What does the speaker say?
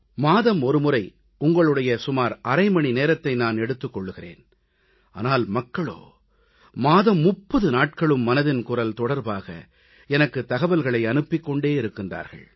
மாதம் ஒரு முறை உங்களுடைய சுமார் அரை மணி நேரத்தை நான் எடுத்துக் கொள்கிறேன் ஆனால் மக்களோ மாதம் 30 நாட்களும் மனதின் குரல் தொடர்பாக எனக்குத் தகவல்களை அனுப்பிக் கொண்டே இருக்கிறார்கள்